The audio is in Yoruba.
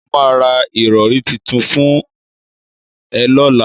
Mo máa ra ìrọ̀rí titun fún ẹ lọ́la.